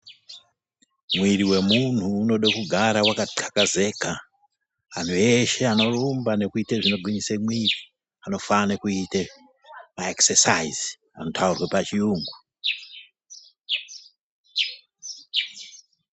Mwiri wemuntu unode kugara wakathakazeka. Antu eshe anorumba nekuite zvinogwinyise mwiri, anofane kuite maekisesaizi, anotaurwe pachiyungu.